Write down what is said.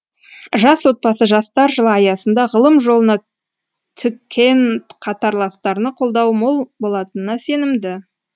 жас отбасы жастар жылы аясында ғылым жолына түкен қатарластарына қолдау мол болатынына сенімді